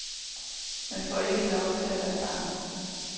Man får ikke lov til at være barn.